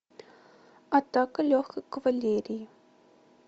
атака легкой кавалерии